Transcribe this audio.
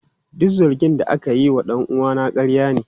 Duk zargin da ake yi wa dan uwana ƙarya ne.